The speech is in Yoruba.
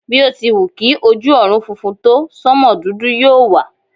Bí o ti wù kí ojú ọ̀run funfun tó, sánmò dúdú yóò wà.